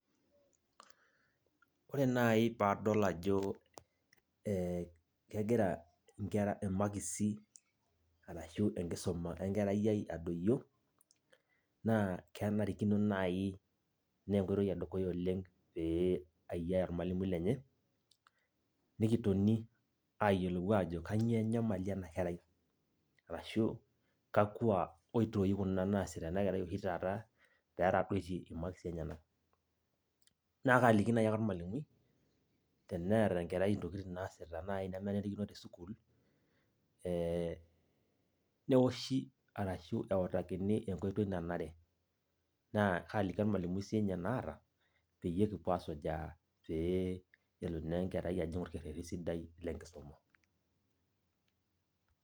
Eh ore naji padol ajo kegira inkera imakisi arashu enkisuma enkerai ai adoyio naa kenarikino nai nee enkoitoi edukuya pee ayiaya ormwalimui lenye , nikitoni ayiolou ajo kainyioo enyamali ena kerai arashu kakwa oitoi kuna oshi taata kuna naasita ena kerai petadoitie imakisi enyenak. Naa kaliki naji ake ormwalimui teneeta ntokitin naasita enkerai nai nemenarikino etii sukuul ee neoshi arashu eutakini enkoitoi nanare naa kaliki ormwalimui sininye naata peyie kipuo asujaa pee elo naa enkerai ajing orkereri sidai le enkisuma.